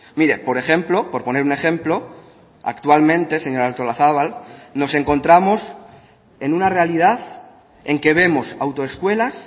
mire por ejemplo por poner un ejemplo actualmente señora artolazabal nos encontramos en una realidad en que vemos autoescuelas